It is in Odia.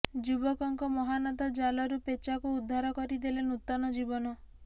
ଯୁବକଙ୍କ ମହାନତା ଜାଲରୁ ପେଚାଙ୍କୁ ଉଦ୍ଧାର କରି ଦେଲେ ନୂତନ ଜୀବନ